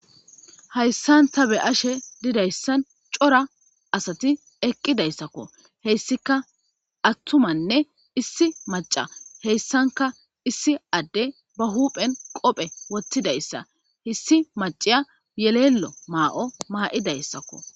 Hayssan ta be'she dizzayssi corra asatti eqqidayssakko hessikka attumanne issi macca hessankka issi addey ba huphen qobbe wothizzayssakko issi macciya yelelo mayoo ma77idaysaskko.